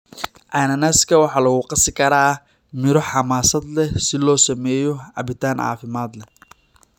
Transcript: Cananaaska waxaa lagu qasi karaa midho xamaasad leh si loo sameeyo cabitaan caafimaad leh.